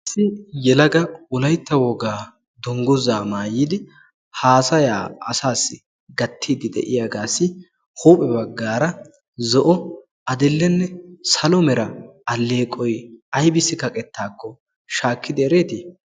Yelaga wolaytta wogaa dungguzaa maayidi haasayaa asaassi gattiiddi de'iyaagaassi huuphe baggaara zo'o adi'llenne salo mera alleeqoy aybissi kaqettaakko shaakkidi ereetii?